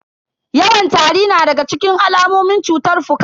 Yawan tari na daga cikin alamomin cutar fuka.